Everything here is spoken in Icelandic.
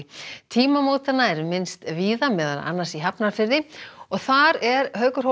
tímamótanna er minnst víða meðal annars í Hafnarfirði og þar er Haukur